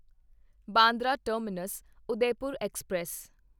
Bandra terminus Udaipur express